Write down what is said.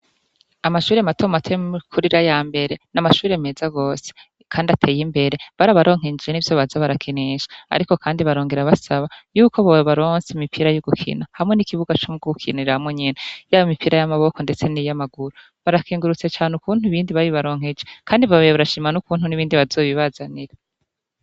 Amashure matomu ateye mkurira ya mbere n'amashure meza gose, kandi ateye imbere bariabaronkejje n'ivyo baza barakinisha, ariko, kandi barongera basaba yuko bowe baronse imipira y'ugukina hamwe n'ikibuga co mww'ugukinira hamwe nyena yabo imipira y'amaboko, ndetse n'iyo amaguru barakingurutse cane uku buntu bindi babibaronkeje, kandi babeye barashima n' uku buntu n'ibindi bazobiba bajanira.